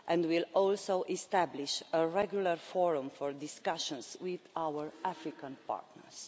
It will also establish a regular forum for discussions with our African partners.